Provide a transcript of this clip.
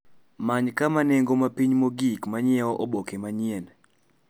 Many kama nengo mapiny mogik ma nyiewo oboke manyien